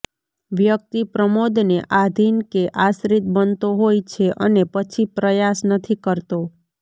વ્યક્તિ પ્રમોદને આધિન કે આશ્રિત બનતો હોય છે અને પછી પ્રયાસ નથી કરતો